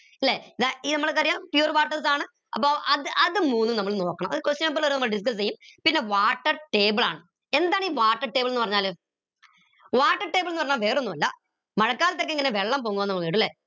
ല്ലെ ഇത് നമ്മക്കറിയാം pure waters ആണ് അപ്പൊ അത് അത് മൂന്നും നമ്മൾ നോക്കണം അത് question paper ൽ വരുമ്പോ നമ്മൾ discuss എയും പിന്നെ water table ആണ് എന്താണീ water table ന്ന് പറഞ്ഞാൽ water table ന്ന് പറഞ്ഞ വേറൊന്നല്ല, മഴക്കാലത്ത് ഓക്കെ എങ്ങനെയാ വെള്ളം പോങ്ങുഅ